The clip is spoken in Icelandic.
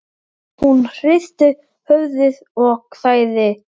Hún hristi höfuðið og þagði.